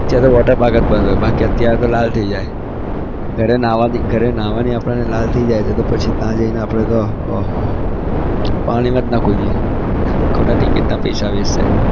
અત્યારે તો water park જ બંધ હોય બાકી અત્યારે તો લાલ થઇ જાય ઘરે નાહવાથી ઘરે નાહવાથી આપણને લાલ થઇ જાય તો તો પછી ત્યાં જઈને આપણે તો ઓહો પાણીમાં જ ના કૂદીએ ખોટા ticket ના પૈસા waste જાય.